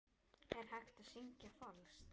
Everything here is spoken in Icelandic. Er hægt að syngja falskt?